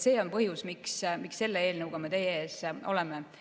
See on põhjus, miks me selle eelnõuga teie ees oleme.